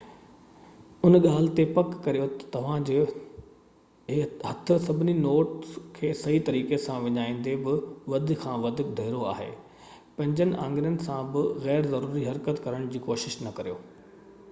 ان ڳالهہ جي پڪ ڪريو تہ توهان جو هٿ سڀني نوٽس کي صحيح طريقي سان وڃائيندي بہ وڌ کان وڌ ڍرو آهي پنهنجي آڱرين سان بہ غير ضروري حرڪت ڪرڻ جي ڪوشش نہ ڪريو